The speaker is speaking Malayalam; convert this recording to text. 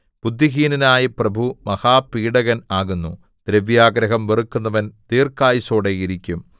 ബുദ്ധിഹീനനായ പ്രഭു മഹാപീഡകൻ ആകുന്നു ദ്രവ്യാഗ്രഹം വെറുക്കുന്നവൻ ദീർഘായുസ്സോടെ ഇരിക്കും